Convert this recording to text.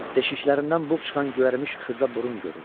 Deşiklərindən buğ çıxan göyərmiş xırda burun görürdü.